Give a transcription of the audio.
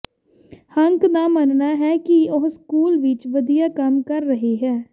Hunk ਦਾ ਮੰਨਣਾ ਹੈ ਕਿ ਉਹ ਸਕੂਲ ਵਿੱਚ ਵਧੀਆ ਕੰਮ ਕਰ ਰਹੀ ਹੈ